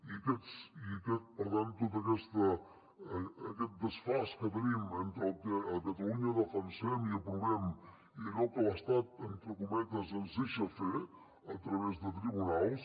i per tant tot aquest desfasament que tenim entre el que a catalunya defensem i aprovem i allò que l’estat entre cometes ens deixa fer a través de tribunals